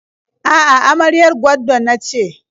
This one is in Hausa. A'a, amaryar gwaddo na ce.